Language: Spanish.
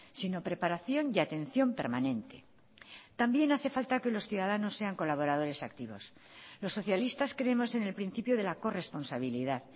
sino preparación y atención permanente también hace falta que los ciudadanos sean colaboradores activos los socialistas creemos en el principio de la corresponsabilidad